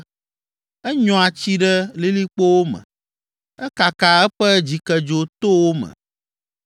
Enyɔa tsi ɖe lilikpowo me, ekakaa eƒe dzikedzo to wo me.